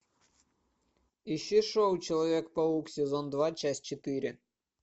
ищи шоу человек паук сезон два часть четыре